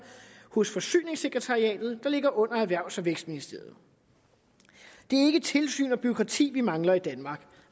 hos forsyningssekretariatet der ligger under erhvervs og vækstministeriet det er ikke tilsyn og bureaukrati vi mangler i danmark